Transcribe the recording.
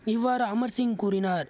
இவ்வாறு அமர் சிங் கூறினார்